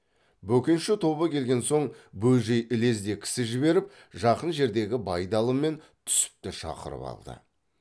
бөкенші тобы келген соң бөжей ілезде кісі жіберіп жақын жердегі байдалы мен түсіпті шақырып алды